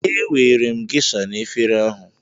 Ewere m Geisha na efere ahụ